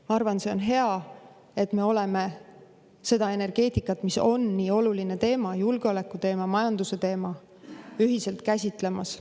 Ma arvan, see on hea, et me oleme energeetikat, mis on nii oluline teema – julgeoleku teema, majanduse teema –, ühiselt käsitlemas.